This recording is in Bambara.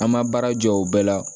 An ma baara jɔ o bɛɛ la